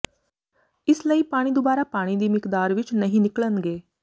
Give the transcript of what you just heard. ਇਸ ਲਈ ਪਾਣੀ ਦੁਬਾਰਾ ਪਾਣੀ ਦੀ ਮਿਕਦਾਰ ਵਿਚ ਨਹੀਂ ਨਿਕਲਣਗੇ